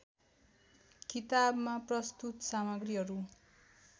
किताबमा प्रस्तुत सामग्रीहरू